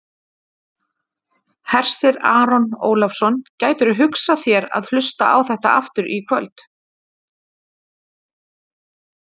Hersir Aron Ólafsson: Gætirðu hugsað þér að hlusta á þetta aftur í kvöld?